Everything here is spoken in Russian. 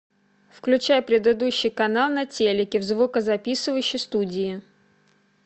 включай предыдущий канал на телике в звукозаписывающей студии